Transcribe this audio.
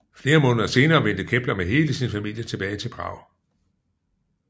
Flere måneder senere vendte Kepler med hele sin familie tilbage til Prag